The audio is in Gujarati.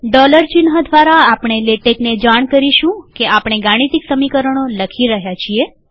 ડોલર ચિહ્ન દ્વારા આપણે લેટેકને જાણ કરીશું કે આપણે ગાણિતિક સમીકરણો લખી રહ્યા છીએ